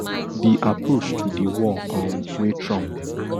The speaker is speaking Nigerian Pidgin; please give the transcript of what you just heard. di approach to di war um wey trump